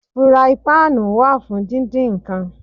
Furaipáànù wà fún díndín nǹkan.